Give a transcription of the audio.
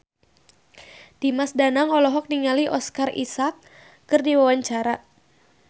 Dimas Danang olohok ningali Oscar Isaac keur diwawancara